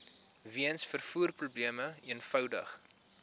weens vervoerprobleme eenvoudig